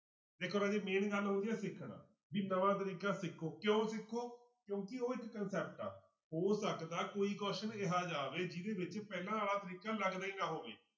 ਦੇਖੋ ਰਾਜੇ main ਗੱਲ ਹੋ ਗਈ ਆ ਸਿੱਖਣਾ ਵੀ ਨਵਾਂ ਤਰੀਕਾ ਸਿੱਖੋ ਕਿਉਂ ਸਿੱਖੋ ਕਿਉਂਕਿ ਉਹ ਇੱਕ concept ਆ, ਹੋ ਸਕਦਾ ਕੋਈ ਕੁਛ ਇਹ ਜਿਹਾ ਆਵੇ ਜਿਹਦੇ ਵਿੱਚ ਪਹਿਲਾਂ ਵਾਲਾ ਤਰੀਕਾ ਲੱਗਦਾ ਹੀ ਨਾ ਹੋਵੇ।